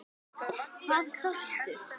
Hvað sástu?